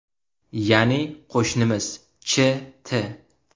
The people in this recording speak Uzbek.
Ya’ni qo‘shnimiz Ch.T.